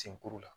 Senkuru la